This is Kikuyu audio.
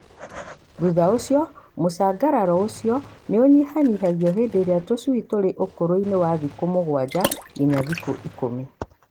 Thutha ũcio mũcangararo ũcio nĩũnyihanyihagio hĩndĩ ĩrĩa tũcui tũrĩ ũkũrũ-inĩ wa thikũ mũgwanja nginya thikũ ikũmi.